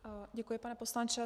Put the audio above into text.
Děkuji, pane poslanče.